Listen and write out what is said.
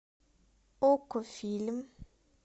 окко фильм